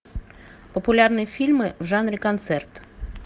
популярные фильмы в жанре концерт